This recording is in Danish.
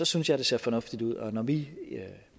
synes jeg det ser fornuftigt ud og når vi